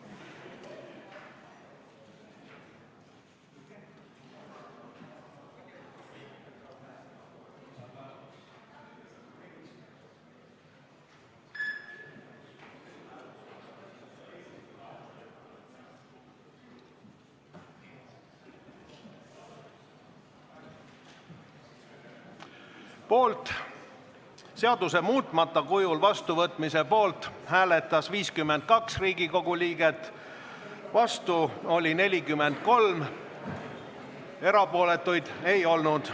Hääletustulemused Seaduse muutmata kujul vastuvõtmise poolt hääletas 52 Riigikogu liiget, vastu oli 43, erapooletuid ei olnud.